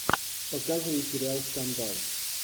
показывай сериал скандал